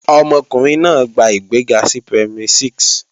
Ọmọkùnrin náà gba ìgbéga sí Primary 6